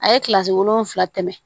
A ye kilasi wolonwula tɛmɛ